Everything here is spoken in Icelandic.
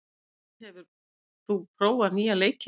Pollý, hefur þú prófað nýja leikinn?